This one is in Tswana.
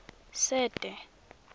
sete